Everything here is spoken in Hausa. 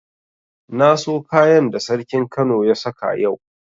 Na so kayan da sarkin kano ya saka yau.